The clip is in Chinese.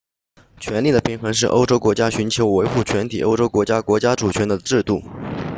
权力的平衡是欧洲国家寻求维护全体欧洲国家国家主权的制度